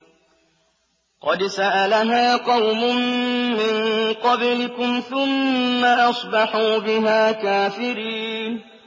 قَدْ سَأَلَهَا قَوْمٌ مِّن قَبْلِكُمْ ثُمَّ أَصْبَحُوا بِهَا كَافِرِينَ